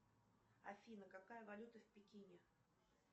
афина какая валюта в пекине